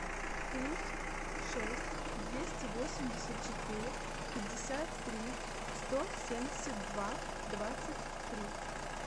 плюс шесть двести восемьдесят четыре пятьдесят три сто семьдесят два двадцать три